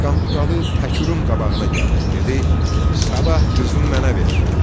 Qanturalı Təkurun qabağına gəldi, dedi: "Sabah qızını mənə ver."